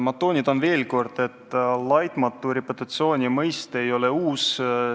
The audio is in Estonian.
Ma toonitan veel kord, et laitmatu reputatsiooni mõiste ei ole uus.